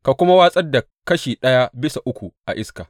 Ka kuma watsar da kashi ɗaya bisa uku a iska.